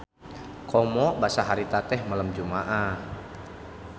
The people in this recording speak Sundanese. Komo basa harita teh malem Jumaah.